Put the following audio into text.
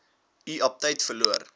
u aptyt verloor